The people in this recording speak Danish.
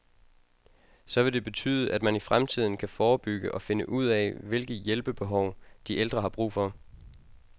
Så vil det betyde, at man i fremtiden kan forebygge og finde ud af hvilke hjælpebehov, de ældre har brug for.